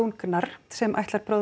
Gnarr sem